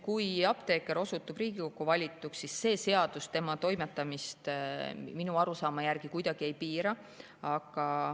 Kui apteeker osutub Riigikokku valituks, siis see seadus tema toimetamist minu arusaama järgi kuidagi ei piira.